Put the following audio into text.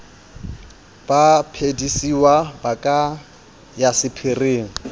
baphedisuwa ba ka ya sephiring